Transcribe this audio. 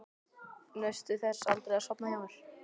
Naustu þess aldrei að sofa hjá mér?